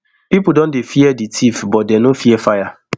pipo don dey fear di tiff but dey no fear fire